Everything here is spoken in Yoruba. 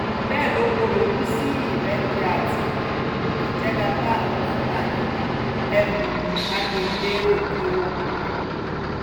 bẹ́ẹ̀ ló kọ̀rọ̀ ojú sí ìrẹ́jẹ àti um ìjẹgàba àwọn fúlàní ní um agbègbè òkè-ogun